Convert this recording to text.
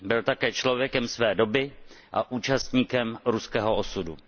Byl také člověkem své doby a účastníkem ruského osudu.